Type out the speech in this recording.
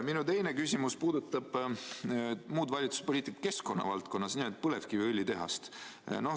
Minu teine küsimus puudutab muud valitsuspoliitikat keskkonna valdkonnas, nimelt põlevkiviõlitehast.